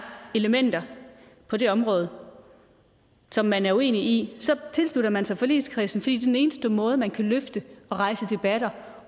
elementer på det område som man er uenig i så tilslutter man sig forligskredsen fordi den eneste måde man kan løfte og rejse debatter